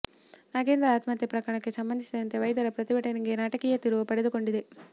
ನಾಗೇಂದ್ರ ಆತ್ಮಹತ್ಯೆ ಪ್ರಕರಣಕ್ಕೆ ಸಂಬಂಧಿಸಿದಂತೆ ವೈದ್ಯರ ಪ್ರತಿಭಟನೆಗೆ ನಾಟಕೀಯ ತಿರುವು ಪಡೆದುಕೊಂಡಿದೆ